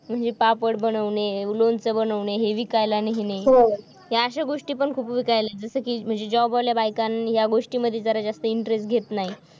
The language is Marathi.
म्हणजे पापड बनवणे लोणचं बनवणे हे विकायला न्हेने. ह्या अशा गोष्टी पण खूप विकायला जसं की म्हणजे job वाल्या बायकांनी जरा जास्त या गोष्टींमध्ये जरा जास्त interest घेत नाही